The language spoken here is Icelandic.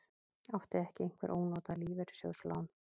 Átti ekki einhver ónotað lífeyrissjóðslán?